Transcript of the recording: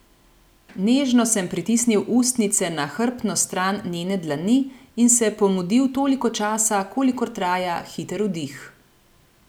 Nežno sem pritisnil ustnice na hrbtno stran njene dlani in se pomudil toliko časa, kolikor traja hiter vdih.